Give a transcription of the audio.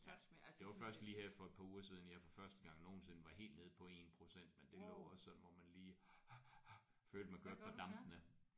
Ja det var først lige her for et par uger siden jeg for første gang nogensinde var helt nede på 1% men det blev også sådan hvor man lige følte man kørte på dampene